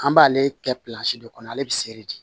An b'ale kɛ de kɔnɔ ale bɛ sere de